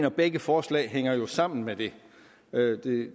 og begge forslag hænger jo sammen med det